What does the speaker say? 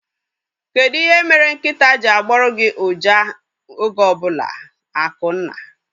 Kedụ ihe mere nkịtaa ji agboru gị uja oge ọbụla? Akunna